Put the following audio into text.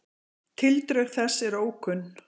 Tildrög þess eru ókunn.